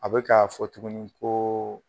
A bɛ k'a fɔ tuguni koo